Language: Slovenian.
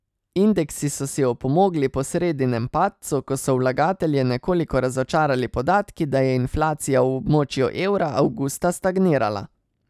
Indeksi so si opomogli po sredinem padcu, ko so vlagatelje nekoliko razočarali podatki, da je inflacija v območju evra avgusta stagnirala.